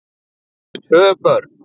Þau áttu tvö börn